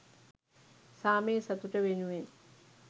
සාමය සතුට වෙනුවෙන්